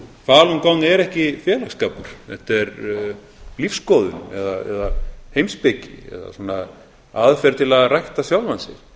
falun gong er ekki félagsskapur þetta er lífsskoðun eða heimspeki eða svona aðferð til að rækta sjálfan sig þannig að